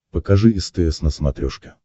покажи стс на смотрешке